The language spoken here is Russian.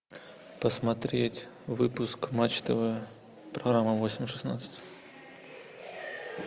посмотреть выпуск матч тв программа восемь шестнадцать